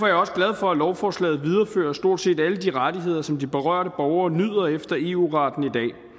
jeg også glad for at lovforslaget viderefører stort set alle de rettigheder som de berørte borgere nyder efter eu retten i